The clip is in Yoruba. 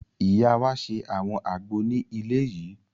Ìyá wa ṣe àwọn àgbo ní ilé yìí